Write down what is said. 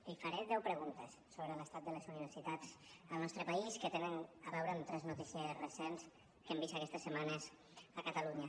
li faré deu preguntes sobre l’estat de les universitats al nostre país que tenen a veure amb tres notícies recents que hem vist aquestes setmanes a catalunya